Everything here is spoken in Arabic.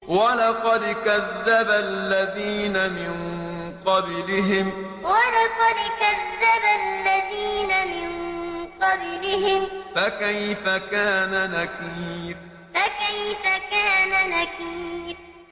وَلَقَدْ كَذَّبَ الَّذِينَ مِن قَبْلِهِمْ فَكَيْفَ كَانَ نَكِيرِ وَلَقَدْ كَذَّبَ الَّذِينَ مِن قَبْلِهِمْ فَكَيْفَ كَانَ نَكِيرِ